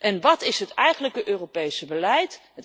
En wat is het eigenlijke Europese beleid?